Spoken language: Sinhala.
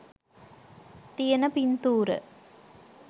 තියෙන පින්තූර.